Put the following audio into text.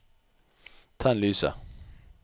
tenn lyset